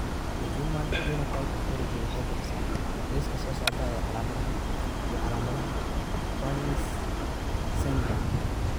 The Human Phenotype Ontology waxay bixisaa liiska soo socda ee calaamadaha iyo calaamadaha Fryns syndrome.